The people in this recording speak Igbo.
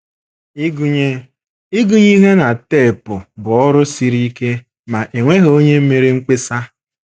Ịgụnye Ịgụnye ihe na tepụ bụ ọrụ siri ike, ma e nweghị onye mere mkpesa.